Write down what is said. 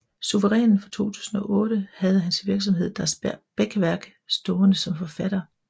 Suverænen fra 2008 havde hans virksomhed Das Beckwerk stående som forfatter